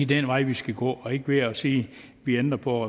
det er en vej vi skal gå og ikke ved at sige at vi ændrer på